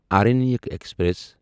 Aranyak express